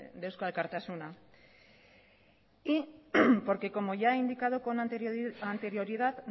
de eusko alkartasuna porque como ya he indicado con anterioridad